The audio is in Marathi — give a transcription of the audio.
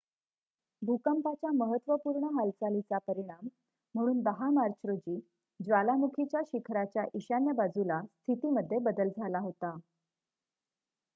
भूकंपाच्या महत्त्वपूर्ण हालचालीचा परिणाम म्हणून १० मार्च रोजी ज्वालामुखीच्या शिखराच्या ईशान्य बाजूला स्थितीमध्ये बदल झाला होता